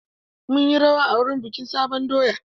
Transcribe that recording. Mun yi rawa a wurin bikin sabon doya.